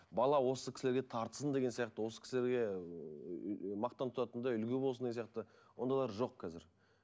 бала осы кісілерге тартсын деген сияқты осы кісілерге мақтан тұтатындай үлгі болсын деген сияқты ондайлар жоқ қазір